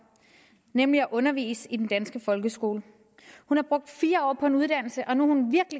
nemlig at undervise i den danske folkeskole hun har brugt fire år på en uddannelse og nu